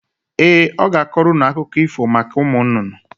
Ee, ọ ga-akọrọ ụnụ akụkọ ífò maka ụmụnnụnnụ.